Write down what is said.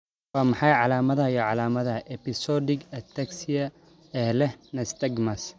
Waa maxay calaamadaha iyo calaamadaha episodic ataxia ee leh nystagmus?